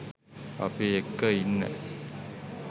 අපි එක්ක ඉන්න